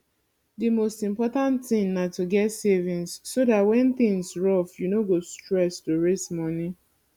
di most important thing na to get savings so dat when things rough you no go stress to raise moni